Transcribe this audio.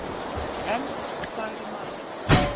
Enn þagði maðurinn.